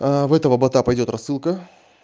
а в этого бота пойдёт рассылка